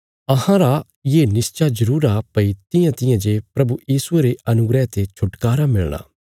हाँ अहांरा ये निश्चा जरूर आ भई तियांतियां ने प्रभु यीशुये रे अनुग्रह ते छुटकारा मिलणा तियांतियां इ अहांजो बी मिलणा